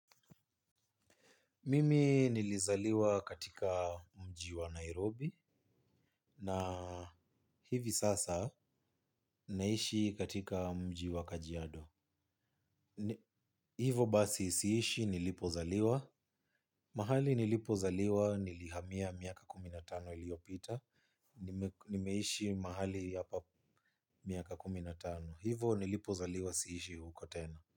Mimi nilizaliwa katika mji wa Nairobi na hivi sasa naishi katika mji wa kajiado. Hivo basi siishi nilipozaliwa. Mahali nilipozaliwa nilihamia miaka kumi na tano iliyopita. Nimeishi mahali hapa miaka kumi na tano. Hivo nilipozaliwa siishi huko tena.